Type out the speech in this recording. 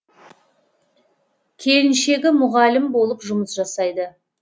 келіншегі мұғалім болып жұмыс жасайды